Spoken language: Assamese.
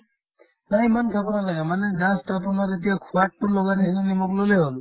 ঐ ইমান খাব নালাগে মানে just আপোনাৰ এতিয়া সোৱাদতো লগা এইটো নিমখ ল'লে হ'ল